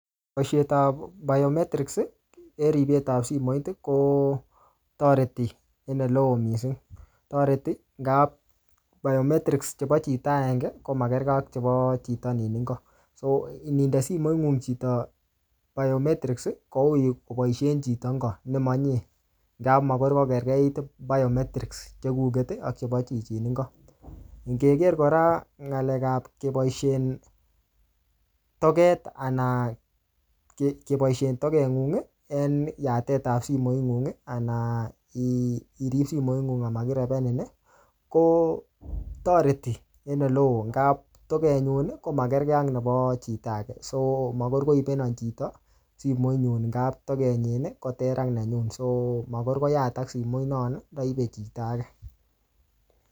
Boisiet ap biometrics, en ripet ap simoit, kotoreti en oleoo missing. Toreti ngap biometrics chebo chito agenge, ko makergei ak chebo chito nin ingo. So ininde simoit ngung chito biometrics, koui koboisen chito nin ingo, nemanyie. Nga makoi kokerkeit biometrics chekuket ak chebo chichin ingo. Ngeger kora ngalek ap keboisien toget anan kebosien toget ng'ung eng yatet ap simoit ng'ung, anan irip simoit ng'ung amakirebenin, kotoreti en ole oo. Ngap toket nyun, komakergei ak nebo chito age. So makoi koibenon chito simoit nyun ngap toget nyi koter ak nenyun. So makor koyatak simoit non kaibe chito age